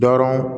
Dɔrɔn